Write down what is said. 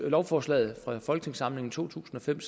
lovforslaget fra folketingssamlingen to tusind og fem